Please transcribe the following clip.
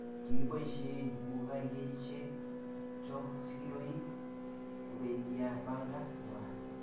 Kiboishei kukaishek chok sigiroik kobendibanda ng'wai